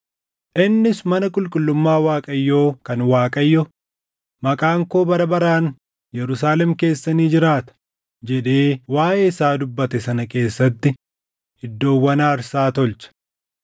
Innis mana qulqullummaa Waaqayyoo kan Waaqayyo, “Maqaan koo bara baraan Yerusaalem keessa ni jiraata” jedhee waaʼee isaa dubbate sana keessatti iddoowwan aarsaa tolche.